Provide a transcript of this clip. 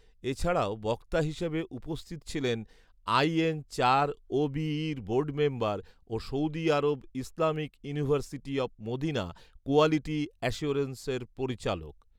এছাড়াও বক্তা হিসেবে উপস্থিত ছিলেন আইএনচারওবিইর বোর্ড মেম্বার ও Saudi Arab Islamic University of Medina quality অ্যাসিওরেন্সের পরিচালক